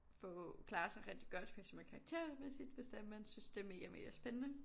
Få klare sig rigtig godt for eksempel karaktermæssigt hvis det er man synes det er mega mega spændende